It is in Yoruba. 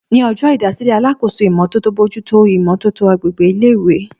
Ní ọjọ́ ìdásílẹ̀, alákòóso ìmó tótó bójú tó ìmò tótó agbègbè ilé ìwé